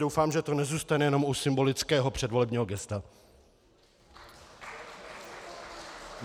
Doufám, že to nezůstane jenom u symbolického předvolebního gesta.